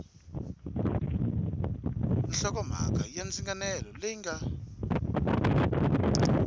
hlokomhaka ya ndzinganelo leyi nga